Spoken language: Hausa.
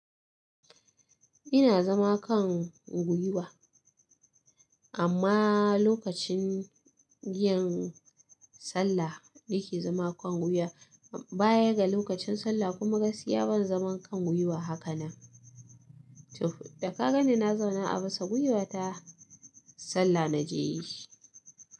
Ina zama kan gwiwa amma lokacin giyan sallah ni ke zama kan gwiwa baya ga lokacin sallah kuma gaskiya ban zaman kan gwiwa haka na. Da ka ganni na zauna a bisa gwiya ta sallah na je yi.